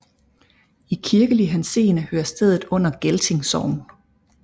I kirkelig henseende hører stedet under Gelting Sogn